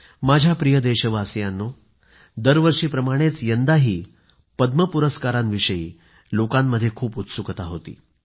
माझ्या प्रिय देशवासियांनो दरवर्षीप्रमाणेच यंदाही पद्म पुरस्काराविषयी लोकांमध्ये खूप उत्सुकता होती